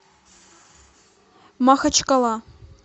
махачкала